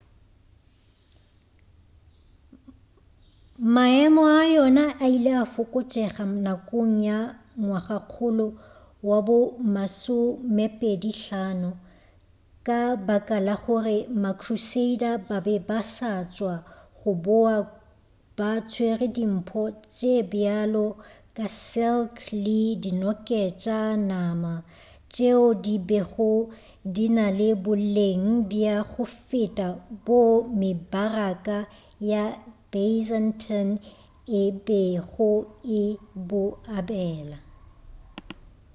maemo a yona a ile a fokotšega nakong ya ngwagakgolo wa bo masomepedi-hlano ka baka la gore ba-crusader ba be ba sa tšwa go boa ba tswere dimpho tše bjalo ka silk le dinoketša-nama tšeo di bego di na le boleng bja go feta boo mebaraka ya byzantine e bego e bo abela